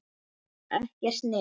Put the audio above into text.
Ekkert net.